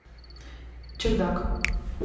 чердак